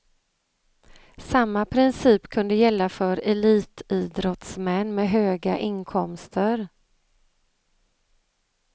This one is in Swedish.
Samma princip kunde gälla för elitidrottsmän med höga inkomster.